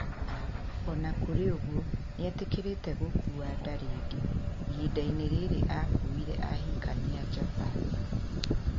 O na kũrĩ ũguo, nĩ etĩkĩrĩte gũkuua nda rĩngĩ. Ihinda-inĩ rĩrĩ akuĩire ahikania a Japan.